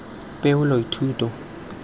poelothuto